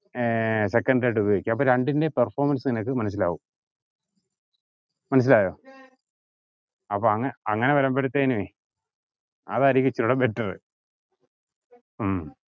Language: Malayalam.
ഏർ secondary ആയിട്ട് ഉപയോഗിക്കുക അപ്പൊ രണ്ടിന്റേം performance നിനക്ക് മനസ്സിലാകും മനസ്സിലായി? അപ്പൊ അങ്ങനെ വരുമ്പത്തേനെ അതായിരിക്കും better